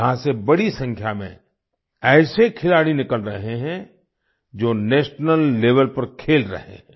यहाँ से बड़ी संख्या में ऐसे खिलाड़ी निकल रहे है जो नेशनल लेवेल पर खेल रहे हैं